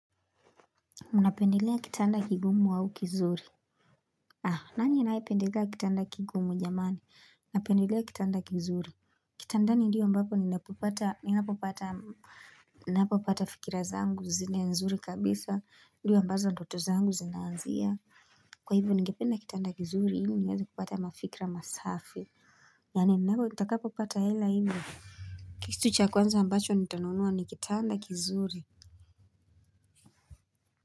Unapendelea kitanda kigumu au kizuri. Ah nani anayependelea kitanda kigumu jamani? Unapendelea kitanda kizuri kitandani ndio ambapo ninapopata ninapopata ninapopata fikira zangu zile nzuri kabisa ndio ambaza doto zangu zinaanzia kwa hivyo ningependa kitanda kizuri ili niweze kupata mafikra masafi yaani nitakapopata hela hivyo kitu cha kwanza ambacho nitanunua ni kitanda kizuri kwa hivyo.